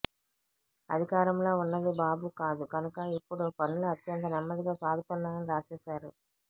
అధికారంలో ఉన్నది బాబు కాదు కనుక ఇప్పుడు పనులు అత్యంత నెమ్మదిగా సాగుతున్నాయని రాసేస్తారు